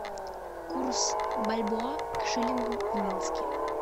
курс бальбоа к шиллингу в минске